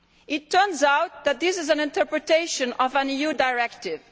It turns out that this is an interpretation of an EU directive.